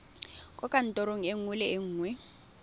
kwa kantorong nngwe le nngwe